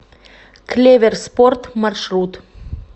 клеверспорт маршрут